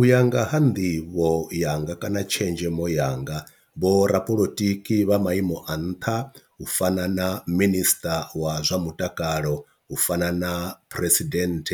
U ya nga ha nḓivho yanga kana tshenzhemo yanga vho ra polotiki vha maimo a nṱha u fana na minister wa zwa mutakalo u fana na president